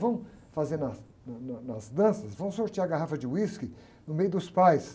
Vamos fazer nas, na, na, nas danças, vamos sortear a garrafa de uísque no meio dos pais.